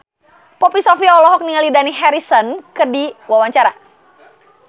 Poppy Sovia olohok ningali Dani Harrison keur diwawancara